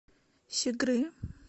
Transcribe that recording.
щигры